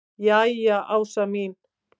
Jæja Ása mín.